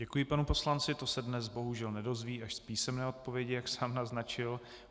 Děkuji panu poslanci, to se dnes bohužel nedozví, až z písemné odpovědi, jak sám naznačil.